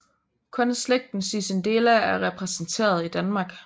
Kun slægten Cicindela er repræsenteret i Danmark